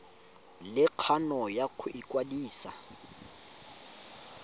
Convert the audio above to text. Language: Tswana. le kgano ya go ikwadisa